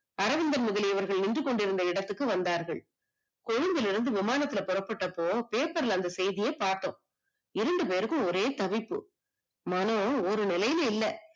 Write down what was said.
அரவிந்தன் முதலியவர்கள் நின்றுகொண்டிருந்த இடத்துக்கு வந்தார்கள். கொழும்புல இருந்து விமானத்துல புறப்பட்டப்போ paper ல அந்த செய்திய பாத்தோம், இரண்டு பேருக்கும் ஒரே தவிப்பு, நானும் ஒரு நிலைல இல்ல.